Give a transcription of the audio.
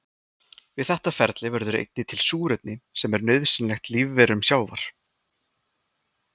Við þetta ferli verður einnig til súrefni sem er nauðsynlegt lífverum sjávar.